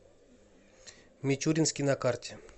мичуринский на карте